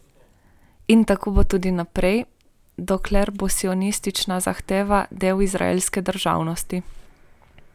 In tako bo tudi naprej, dokler bo sionistična zahteva del izraelske državnosti.